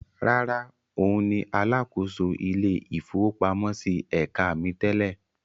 Rárá, òun ni alákòóso ilé-ìfowópamọ́sí ẹ̀ka mi tẹ́lẹ̀.